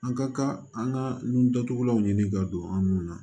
An ka kan an ka nun datugulanw ɲini ka don an nun na